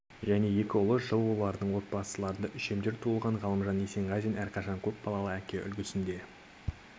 және екі ұл жылы олардың отбасыларында үшемдер туылған ғалымжан есенғазин әрқашан көп балалы әке үлгісінде